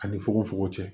Ani fugofugo cɛ